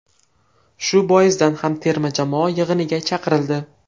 Shu boisdan ham terma jamoa yig‘iniga chaqirildi.